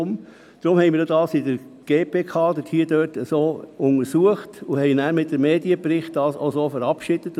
Deshalb haben wir das entsprechend in der GPK untersucht und es so in einer Medienmitteilung verabschiedet.